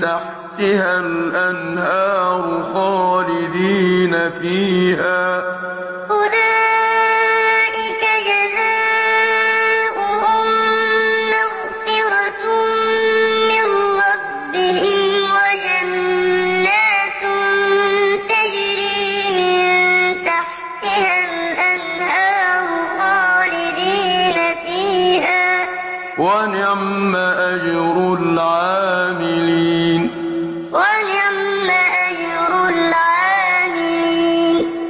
تَحْتِهَا الْأَنْهَارُ خَالِدِينَ فِيهَا ۚ وَنِعْمَ أَجْرُ الْعَامِلِينَ أُولَٰئِكَ جَزَاؤُهُم مَّغْفِرَةٌ مِّن رَّبِّهِمْ وَجَنَّاتٌ تَجْرِي مِن تَحْتِهَا الْأَنْهَارُ خَالِدِينَ فِيهَا ۚ وَنِعْمَ أَجْرُ الْعَامِلِينَ